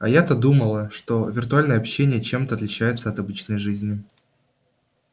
а я-то думала что виртуальное общение чем-то отличается от обычной жизни